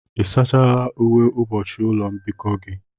Ị sachala uwe ụbọchị ụlọ mbikọ gị?